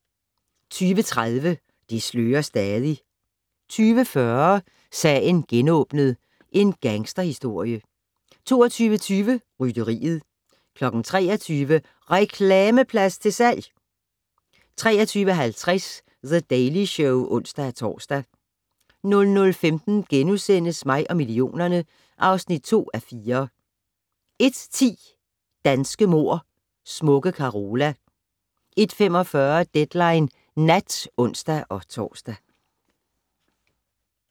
20:30: Det slører stadig 20:40: Sagen genåbnet: En gangsterhistorie 22:20: Rytteriet 23:00: Reklameplads til salg! 23:50: The Daily Show (ons-tor) 00:15: Mig og millionerne (2:4)* 01:10: Danske mord: Smukke Carola 01:45: Deadline Nat (ons-tor)